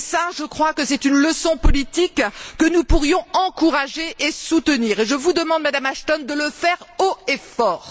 Je crois qu'il s'agit là d'une leçon politique que nous pourrions encourager et soutenir, et je vous demande, Madame Ashton, de le faire haut et fort.